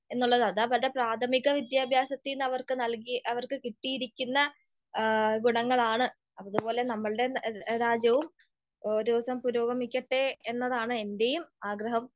എന്നുള്ളത് അത് അവരുടെ പ്രാഥമിക വിദ്യാഭ്യാസത്തീന്ന് അവർക്ക് നൽകി, അവർക്ക് കിട്ടിയിരിക്കുന്ന ഗുണങ്ങളാണ്. അതുപോലെ നമ്മളുടെ രാജ്യവും ഓരോ ദിവസവും പുരോഗമിക്കട്ടെ എന്നതാണ് എൻ്റെയും ആഗ്രഹം.